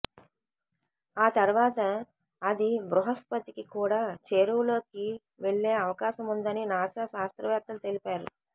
ఆ తర్వాత అది బృహస్పతికి కూడా చేరువలోకి వెళ్లే అవకాశముందని నాసా శాస్త్రవేత్తలు తెలిపారు